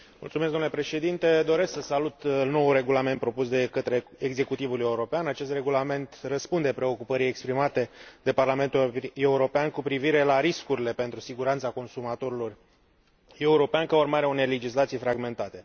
Domnule Președinte, doresc să salut noul regulament propus de către executivul european, acest regulament răspunde preocupării exprimate de Parlamentul European cu privire la riscurile pentru siguranța consumatorilor europeni ca urmare a unei legislații fragmentate.